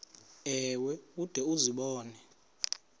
ewe ude uzibone